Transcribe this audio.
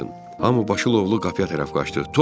Hami başı lovlu qapıya tərəf qaçdı.